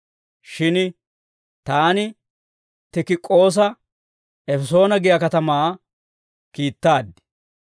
Shin taani Tikik'oosa Efesoona giyaa katamaa kiittaad.